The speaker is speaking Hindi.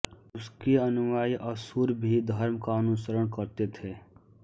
उसके अनुयायी असुर भी धर्म का अनुसरण करते थे